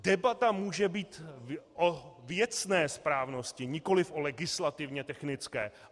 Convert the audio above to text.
Debata může být o věcné správnosti, nikoliv o legislativně technické.